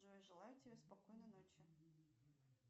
джой желаю тебе спокойной ночи